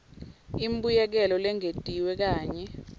imbuyekelo lengetiwe kanye